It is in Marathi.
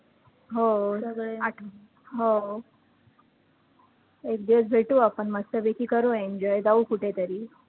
हो सगळे, आठ हो एकदिवस भेटू आपण मस्त पैकी करू enjoy, जाऊ कुठे तरी